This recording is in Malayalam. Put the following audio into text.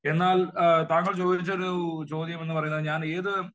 എന്നാൽ താങ്കൾ ചോദിച്ച ഒരു ചോദ്യമെന്ന് പറയുന്നത് ഞാൻ ഏത്